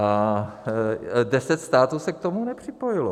A deset států se k tomu nepřipojilo.